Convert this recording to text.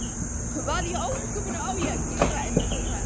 Hvað í ósköpunum á ég að gera? endurtók hann.